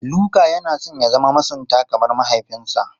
Luka yana son ya zama masunta kamar mahaifinsa.